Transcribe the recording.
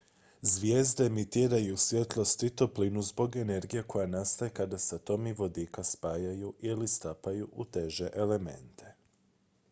zvijezde emitiraju svjetlost i toplinu zbog energije koja nastaje kada se atomi vodika spajaju ili stapaju u teže elemente